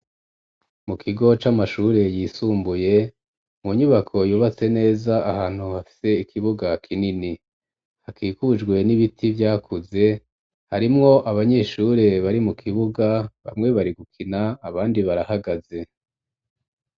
Mu kigo c'amashuri yisumbuye mu nyubako yubatse neza ahantu hafise ikibuga kinini hakikujwe n'ibiti vyakuze harimwo abanyeshure bari mu kibuga bamwe bari gukina abandi barahagaze.